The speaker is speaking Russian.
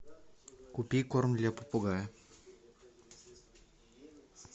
купи корм для попугая